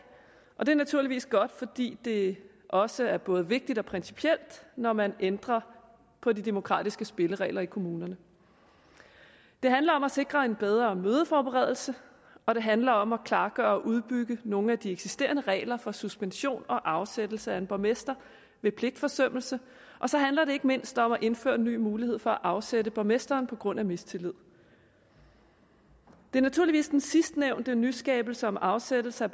og det er naturligvis godt fordi det også er både vigtigt og principielt når man ændrer på de demokratiske spilleregler i kommunerne det handler om at sikre en bedre mødeforberedelse og det handler om at klargøre og udbygge nogle af de eksisterende regler for suspension og afsættelse af en borgmester ved pligtforsømmelse og så handler det ikke mindst om at indføre en ny mulighed for at afsætte borgmesteren på grund af mistillid det er naturligvis den sidstnævnte nyskabelse om afsættelse af